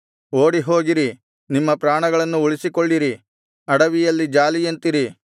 ಓಡಿಹೋಗಿರಿ ನಿಮ್ಮ ಪ್ರಾಣಗಳನ್ನು ಉಳಿಸಿಕೊಳ್ಳಿರಿ ಅಡವಿಯಲ್ಲಿನ ಜಾಲಿಯಂತಿರಿ